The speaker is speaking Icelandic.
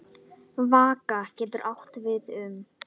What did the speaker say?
Vaka getur átt við um